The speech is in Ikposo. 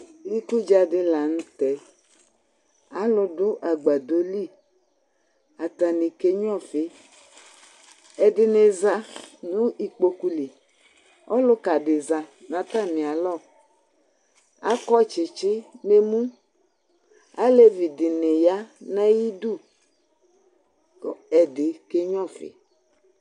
Ikudza dɩ la nʋ tɛ Alu nɩ adʋ agbadɔ li Atanɩ akenyʋa ɔfɩ, ɛdɩnɩ aza nʋ ikpoku li Ɔlʋka dɩ ɔza nʋ atamɩ alɔ, akɔ tsɩtsɩ nʋ emu Alevi dɩnɩ aya nʋ ayʋ ɩdʋ, kʋ ɛdɩ kenyʋa ɔfɩ